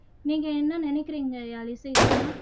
நீங்க என்ன நினைக்குறீங்க யாழிசை தீனா